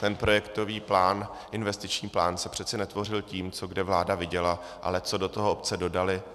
Ten projektový plán, investiční plán se přeci netvořil tím, co kde vláda viděla, ale co do toho obce dodaly.